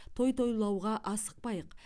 той тойлауға асықпайық